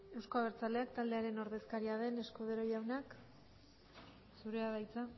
euzko abertzaleak taldearen ordezkaria den escudero jauna zurea da hitza